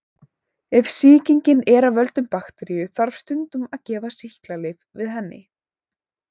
Ef sýkingin er af völdum bakteríu þarf stundum að gefa sýklalyf við henni.